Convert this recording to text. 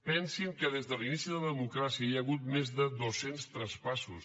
pensin que des de l’inici de la democràcia hi ha hagut més de dos cents traspassos